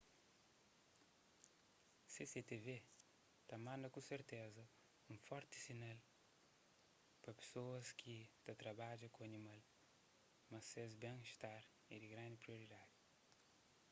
cctv ta manda ku serteza un forti sinal pa pesoas ki ta trabadja ku animal ma ses ben istar é di grandi prioridadi